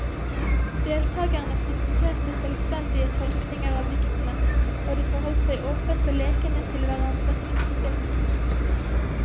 Deltagerne presenterte selvstendige tolkninger av diktene, og de forholdt seg åpent og lekende til hverandres innspill.